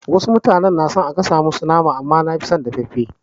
Wasu sun fi son a gasa musu nama amma nafi son dafaffe.